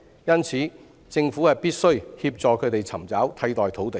因而，政府必須協助他們尋找替代土地。